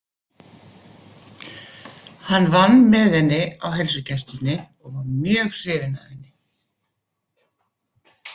Hann vann með henni á heilsugæslunni og var mjög hrifinn af henni.